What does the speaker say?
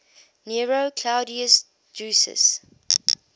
nero claudius drusus